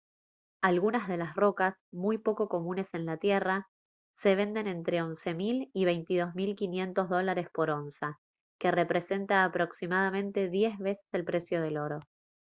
algunas de las rocas muy poco comunes en la tierra se venden entre $11 000 y $22 500 dólares por onza que representa aproximadamente diez veces el precio del oro